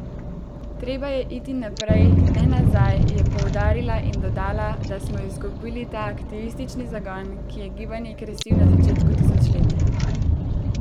Treba je iti naprej, ne nazaj, je poudarila in dodala, da smo izgubili ta aktivistični zagon, ki je gibanje krasil na začetku tisočletja.